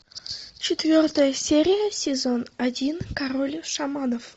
четвертая серия сезон один король шаманов